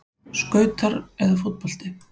Skautar eða fótbolti?